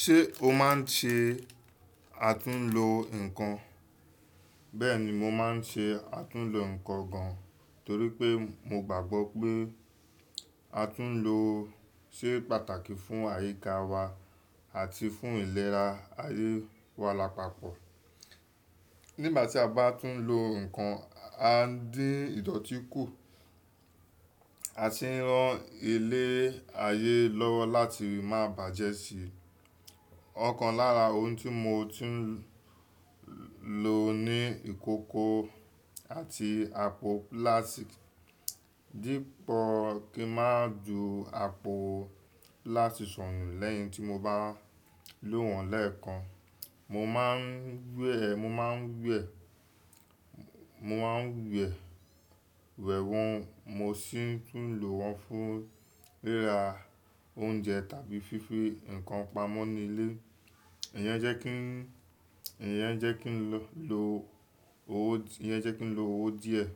Ṣé o máa ń ṣe àtúnlo nǹkan? Bẹ́ẹ̀ni, mo máa ń ṣe àtúnlo nǹkan gan, torí pé mo gbàgbọ́ pé àtúnlo ṣe pàtàkì fún àyíká wa àti fún ìlera ayé wa lápapọ̀. Nígbà tí a bá tún lo nǹkan, a ń dín ìdọ̀tí kù, a sì ń ran ile ayé lọ́wọ́ láti má bàjẹ́ sí i. Ọ̀kan lára ohun tí mo ti ń lo ni ìkókó àti àpò pílátíkì, dípò kí mú àpò pílátíkì sọnù lẹ́yìn tí mo bá lò wọ́n lẹ́ẹ̀kan, mo máa ń wẹ̀, mo máa ń wẹ̀, mo máa ń wẹ̀ wẹ́wọ́n, mo sì tún lò wọ́n fún ríra oúnjẹ tàbí fífi nǹkan pamọ́ nílé. Iyẹn jẹ́ kí ń, iyẹn jẹ́ kí ń lo owó, iyẹn jẹ́ kí ń lo owó díẹ̀.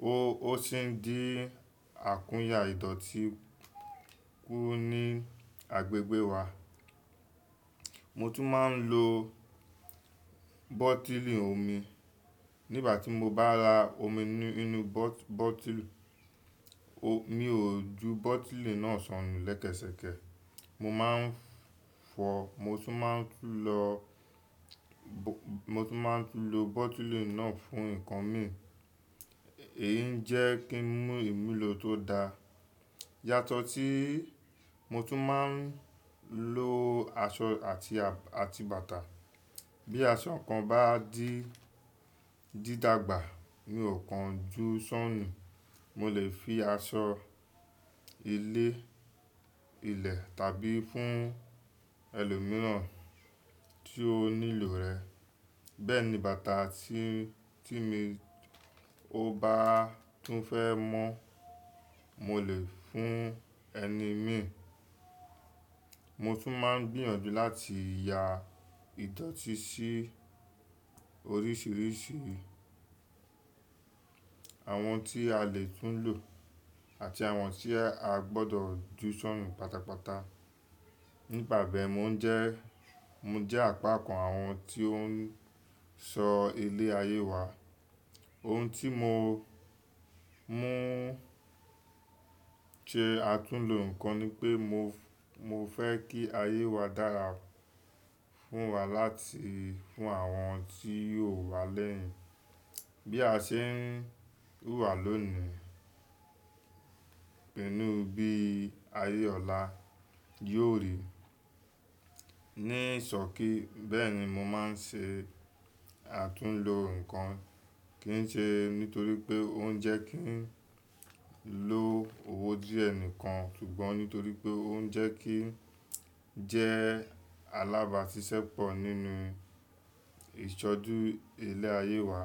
Ó, ó sì ń dín àkúnyé àìdọ̀tí kù ní agbègbè wa. Mo tún máa ń lo bọ́tílì omi. Nígbà tí mo bá ra omi nínú bọ́-bọ́tílì, mi ò ju bọ́tílì náà sọnù lẹ́kẹ́sẹ̀kẹ́. Mo máa ń fọ, mo tún máa ń lo, mo tún máa ń lo bọ́tílì náà fún nǹkan mi. Èyí ń jẹ́ kí ń mú ìmùlò tó dáa. Yàtọ̀ tí mo tún máa ń lo aṣọ àti, àti bàtà. Bí aṣọ kan bá di dídàgbà, mi ò kan ju sọnù. Mo lè fi aṣọ ilé ilẹ̀ tàbí fún ẹlòmíràn tí ó nílò rẹ̀. Bẹ́ẹ̀ ni bàtà tí, tí mí ò bá tún fẹ́ mọ̀, mo lè fún ẹni mi. Mo tún máa ń gbìyànjú láti ya ìdọ̀tí sí oríṣìíríṣìí àwọn tí a lè tún lò àti àwọn tí a gbọdọ̀ ju sọnù pátápátá. Ní ìpàdé, mo ń jẹ́, mo jẹ́ apákan àwọn tió ń sọ ilé ayé wa. Ohun tí mo, mo ń ṣe àtúnlo nǹkan ni pé mo, mo fẹ́ kí ayé wa dára fún wa láti, fún àwọn tí yóò wá lẹ́yìn. Bí a ṣe ń wà lónìí, pẹ̀lú bí ayé ọ̀la yóò rí. Nísọ̀kí, bẹ́ẹ̀ ni mo máa ń ṣe àtúnlo nǹkan. Kì í ṣe nítorí pé ó ń jẹ́ kí n lo owó díẹ̀ nìkan, ṣùgbọ́n nítorí pé ó ń jẹ́ kí jẹ́ alábàáṣiṣẹ́ pọ̀ nínú ìṣọ́ọ̀dù ilé ayé wa.